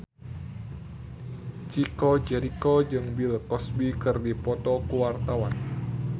Chico Jericho jeung Bill Cosby keur dipoto ku wartawan